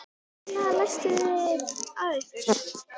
Hvers vegna læstuð þið að ykkur?